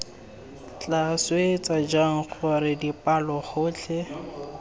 tla swetsa jang gore dipalogotlhe